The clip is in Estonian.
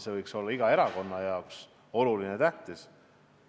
See võiks olla iga erakonna jaoks tähtis.